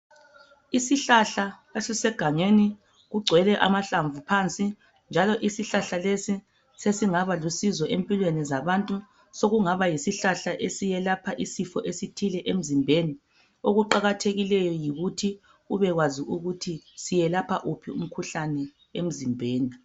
Isihlahla esisegangeni kugcwele amahlamvu phansi njalo isihlahla lesi sesingaba lusizo empilweni zabantu sokungaba yisihlahla esiyelapha isifo esithile emzimbeni okuqakathekileyo yikuthi ubekwazi ukuthi siyelapha wuphi umkhuhlane emzimbeni.